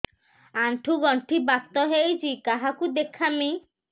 ଆଣ୍ଠୁ ଗଣ୍ଠି ବାତ ହେଇଚି କାହାକୁ ଦେଖାମି